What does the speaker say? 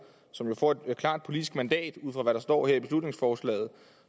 som får et klart politisk mandat ud fra hvad der står her i beslutningsforslaget